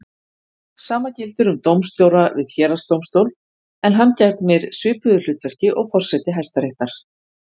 Sama gildir um dómstjóra við héraðsdómstól en hann gegnir svipuðu hlutverki og forseti Hæstaréttar.